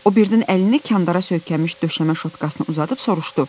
O birdən əlini kəndara söykənmiş döşəmə şotkasına uzadıb soruşdu: